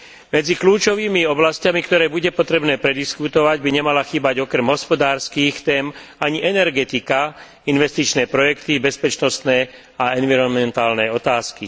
Medzi kľúčovými oblasťami, ktoré bude potrebné prediskutovať, by nemala chýbať okrem hospodárskych tém ani energetika, investičné projekty, bezpečnostné a environmentálne otázky.